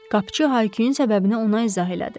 Qapıçı Hayküyün səbəbini ona izah elədi.